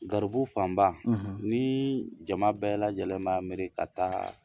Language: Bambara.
Garibu fanba, ni jama bɛɛ lajɛlen b'a miiri ka taa